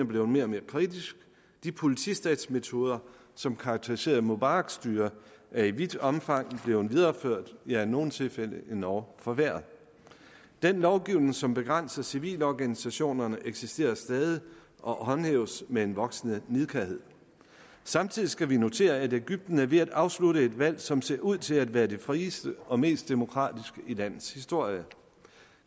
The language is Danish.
blevet mere og mere kritisk de politistatsmetoder som karakteriserede mubaraks styre er i vidt omfang blevet videreført ja i nogle tilfælde endog forværret den lovgivning som begrænser civilorganisationerne eksisterer stadig og håndhæves med en voksende nidkærhed samtidig skal vi notere at egypten er ved at afslutte et valg som ser ud til at være det frieste og mest demokratiske i landets historie the